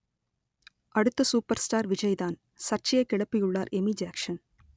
அடுத்த super star விஜய்தான் சர்ச்சையை கிளப்பியுள்ளார் எமி ஜாக்ஷன்